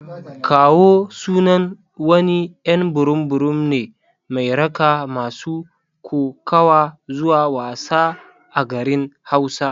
"Kawo" sunan wani y'an burum burum ne mai raka masu kokawa zuwa wasa a garin hausa.